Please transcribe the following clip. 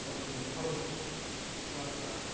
সব মানে ভালো থাকতো রাস্তা